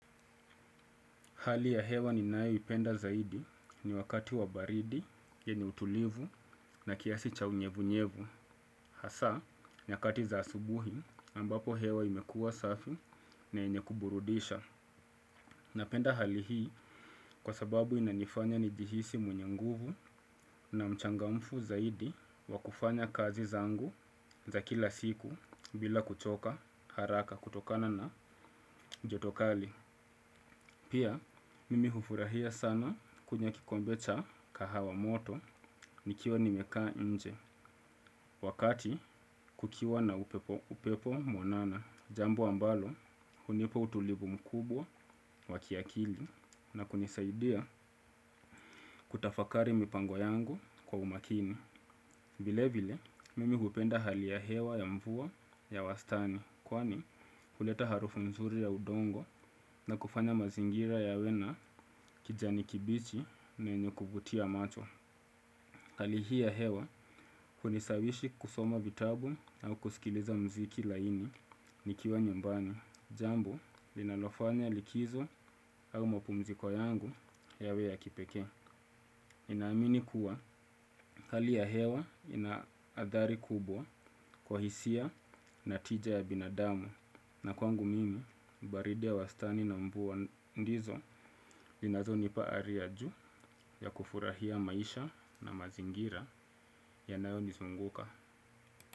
Hali ya hewa ninayoipenda zaidi ni wakati wa baridi yenye utulivu na kiasi cha unyevunyevu. Hasa nyakati za asubuhi ambapo hewa imekuwa safi na yenye kuburudisha. Napenda hali hii kwa sababu inanifanya nijihisi mwenye nguvu na mchangamfu zaidi wa kufanya kazi zangu za kila siku bila kuchoka haraka kutokana na joto kali. Pia, mimi hufurahia sana kunywa kikombe cha kahawa moto nikiwa nimekaa nje wakati kukiwa na upepo mwanana, jambo ambalo hunipa utulivu mkubwa wa kiakili na kunisaidia kutafakari mipango yangu kwa umakini. Vilevile, mimi hupenda hali ya hewa ya mvua ya wastani kwani huleta harufu nzuri ya udongo na kufanya mazingira yawe na kijani kibichi na yenye kuvutia macho. Hali hii ya hewa hunishawishi kusoma vitabu au kusikiliza muziki laini nikiwa nyumbani, jambo linalofanya likizo au mapumziko yangu yawe ya kipekee. Ninaamini kuwa hali ya hewa ina athari kubwa kwa hisia na tija ya binadamu na kwangu mimi baridi ya wastani na mvua ndizo zinazonipa ari ya juu ya kufurahia maisha na mazingira yanayonizunguka.